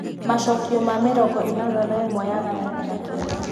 macokio ma mĩrongo ĩnana na ĩmwe yagayanio na kenda